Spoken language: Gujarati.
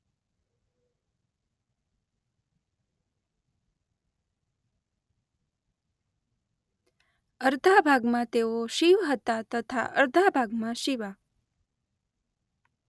અર્ધા ભાગમાં તેઓ શિવ હતા તથા અર્ધા ભાગમાં શિવા.